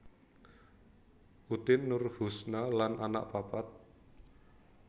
Utin Nurhusna lan anak papat